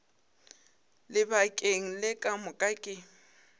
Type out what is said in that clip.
lebakeng le ka moka ke